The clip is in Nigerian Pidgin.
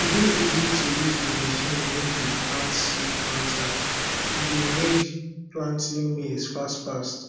e dey easy to use the machine wey di plant seed planter e dey make planting maize fast fast